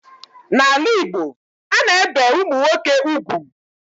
N'ala Igbo, a na-ebe ụmụnwoke ugwu.